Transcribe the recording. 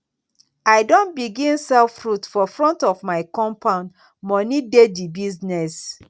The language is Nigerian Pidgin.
i don begin sell fruit for front of my compound moni dey di business